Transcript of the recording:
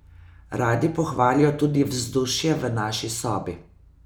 Radi pohvalijo tudi vzdušje v naši sobi.